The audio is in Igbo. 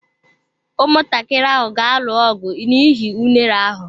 Ụmụntakịrị ahụ ga-alụ ọgụ n'ihi unere ahụ.